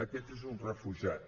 aquest és un refugiat